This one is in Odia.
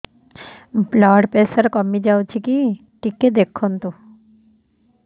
ବ୍ଲଡ଼ ପ୍ରେସର କମି ଯାଉଛି କି ଟିକେ ଦେଖନ୍ତୁ